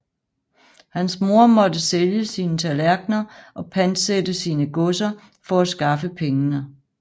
Hans mor måtte sælge sine tallerkener og pantsætte sine godser for at skaffe pengene